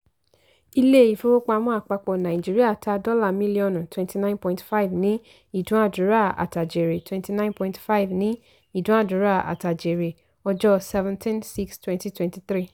ilé-ìfowópamọ́ àpapọ̀ nàìjíríà ta dọ́là mílíọ̀nù twenty nine point five ní ìdúnàdúrà-àtàjèrè twenty nine point five ní ìdúnàdúrà-àtàjèrè ọjọ́ seventeen / six / twenty twenty three.